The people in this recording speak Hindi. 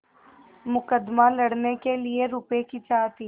मुकदमा लड़ने के लिए रुपये की चाह थी